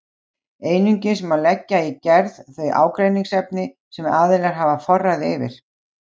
Einungis má leggja í gerð þau ágreiningsefni sem aðilar hafa forræði yfir.